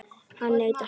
Hann neitar sök.